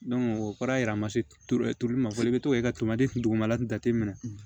o kɔrɔ ye a ma se tuuru ma fɔlɔ i bɛ to i ka tomati dugumala in jate minɛ